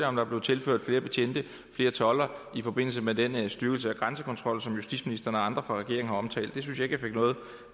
om der blev tilført flere betjente og flere toldere i forbindelse med den styrkelse af grænsekontrollen som justitsministeren og andre fra regeringen har omtalt